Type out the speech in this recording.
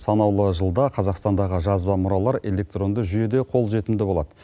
санаулы жылда қазақстандағы жазба мұралар электронды жүйеде қолжетімді болады